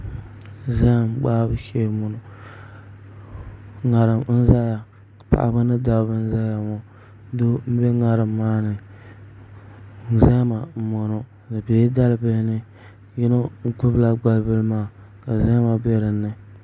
Zaham gbahabu shee n bɔŋɔ ŋarim n ʒɛya paɣaba ni dabba n ʒɛya ŋɔ doo n bɛ ŋarim maa ni zahama n bɔŋɔ di biɛla dalibili ni yino gbubila gbambili maa ka zahama bɛ dinni